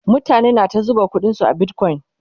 mutane na ta zuba ƙuɗin su a bitcoin